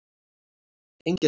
Engjaseli